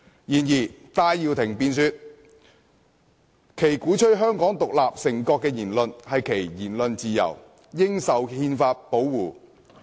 然而，戴耀廷辯說鼓吹香港獨立成國的言論是其言論自由，應受憲法保護。